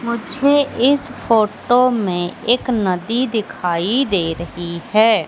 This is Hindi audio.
मुझे इस फोटो में एक नदी दिखाई दे रही है।